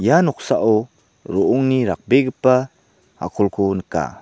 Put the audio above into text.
ia noksao ro·ongni rakbegipa a·kolko nika.